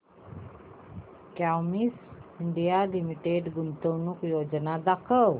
Cummins India Limited गुंतवणूक योजना दाखव